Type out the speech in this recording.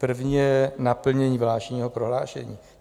První je naplnění vládního prohlášení.